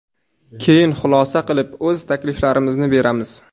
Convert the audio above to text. Keyin xulosa qilib, o‘z takliflarimizni beramiz.